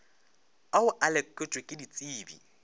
ao a lekotšwe ke ditsebi